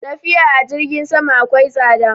Tafiya a jirgin sama akwai tsada